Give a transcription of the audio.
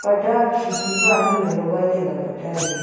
ate parda khe khe pa ani le logai le taiga parda a.